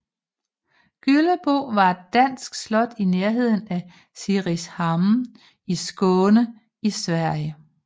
Gyllebo var et dansk slot i nærheden af Simrishamn i Skåne i Sverige